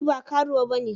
Ni ba karuwa bane.